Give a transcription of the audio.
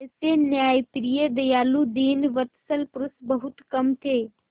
ऐसे न्यायप्रिय दयालु दीनवत्सल पुरुष बहुत कम थे